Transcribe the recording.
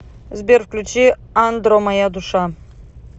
сбер включи андро моя душа